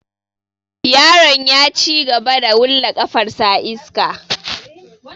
Yaron ya cigaba da wulla ƙafar sa a iska.